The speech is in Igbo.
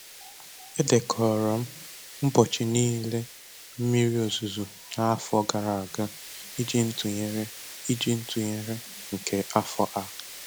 Edekọrọ m ụbọchị niile mmiri ozuzo n'afọ gara aga iji ntụnyere iji ntụnyere nke afọ a